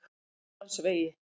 Vesturlandsvegi